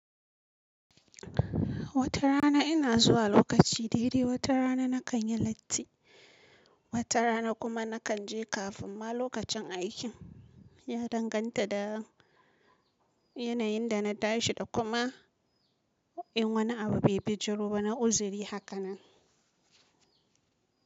Wata rana ina zuwa lokaci daidai, wata rana na kan yi latti, wata rana kuma na kan je kafin ma lokacin aikin. Ya danganta da yanayin da na tashi da kuma in wani abu bai bijiro ba, na uzuri haka nan.